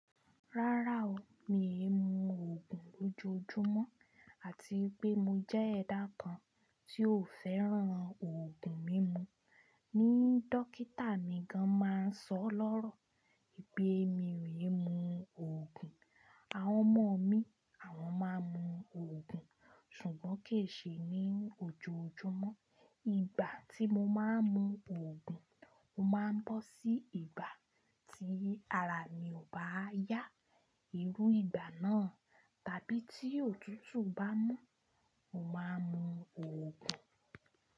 Rárá o, mii mú òògùn lójoojúmọ́ àti pé mo jẹ́ ẹ̀dá kan tí ò fẹ́ràn òògùn mímu. Ni dọkítà mi gan-an máa ń sọ lọ́rọ̀ wipé mi ò imú òògùn. Àwọn ọmọ mi, àwọn máa ń mu òògùn ṣùgbọ́n kì í ṣe ní ojoojúmọ́. Ìgbà tí mo máa ń mu òògùn, o máa ń bọ́ sí ìgbà tí ara mi ò bá yá. Irú ìgbà náà tàbí tí òtútù bá mú, mo máa ń mu òògùn.